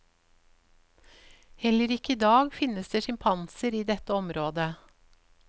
Heller ikke i dag finnes det sjimpanser i dette området.